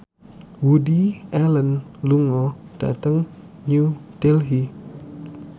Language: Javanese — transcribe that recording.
Woody Allen lunga dhateng New Delhi